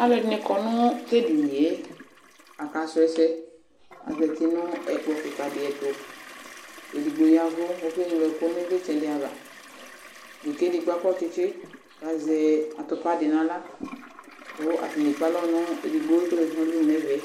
Aalʋɛɖini kɔ nʋ tɛɖiniyɛ aka su ɛsɛAzɛti nʋ ɛkpɔ kikaɖi ɛtʋEɖigbo yavu kɔkɛ ɣlo ɛkʋ ivlitsɛ ɖiavaK'ɛɖigbo akɔ tsitsi kazɛ atʋpaɖi n'aɣla kʋ atani akpe alɔ nʋ eɖigbo k'ɔzeti n'ɛvɛ